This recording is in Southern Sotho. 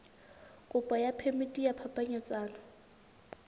kopo ya phemiti ya phapanyetsano